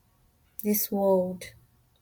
dis world dey feel dark witout my mama i still dey mourn am